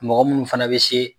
Mɔgɔ munnu fana be se